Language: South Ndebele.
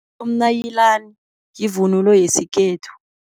Umnayilani yivunulo yesikhethu.